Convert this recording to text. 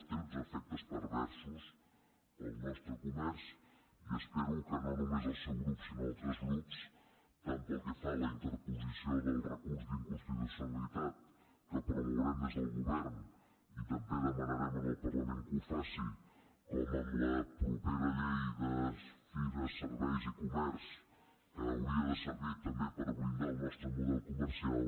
té uns efectes perversos per al nostre comerç i espero que no només el seu grup sinó altres grups tant pel que fa a la interposició del recurs d’inconstitucionalitat que promourem des del govern i també demanarem al parlament que ho faci com amb la propera llei de comerç serveis i fires que hauria de servir també per blindar el nostre model comercial